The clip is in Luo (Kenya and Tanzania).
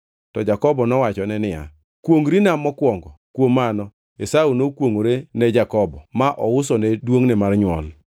To Jakobo nowachone niya, “Kwongʼrina mokwongo.” Kuom mano Esau nokwongʼore ne Jakobo, ma ousone duongʼne mar nywol.